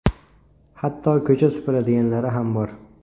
Hatto ko‘cha supuradiganlari ham bor.